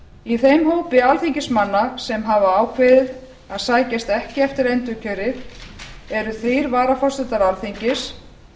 í þeim hópi alþingismanna sem hafa ákveðið að sækjast ekki eftir endurkjöri eru þrír varaforsetar alþingis